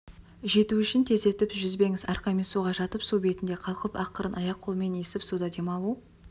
жету үшін тездетіп жүзбеңіз арқамен суға жатып су бетінде қалқып ақырын аяқ-қолмен есіп суда демалу